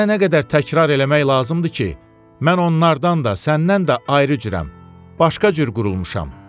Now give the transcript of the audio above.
Sənə nə qədər təkrar eləmək lazımdır ki, mən onlardan da, səndən də ayrı cürəm, başqa cür qurulmuşam.